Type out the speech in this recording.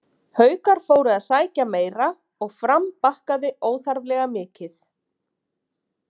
Haukar fóru að sækja meira og Fram bakkaði óþarflega mikið.